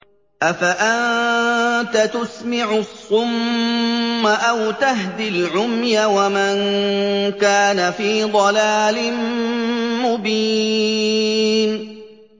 أَفَأَنتَ تُسْمِعُ الصُّمَّ أَوْ تَهْدِي الْعُمْيَ وَمَن كَانَ فِي ضَلَالٍ مُّبِينٍ